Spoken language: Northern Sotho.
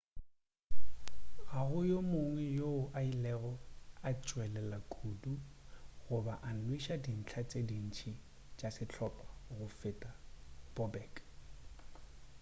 ga go yo mongwe yoo a ilego a tšwelela kudu goba a nweša dintlha tše dintši tša sehlopha go feta bobek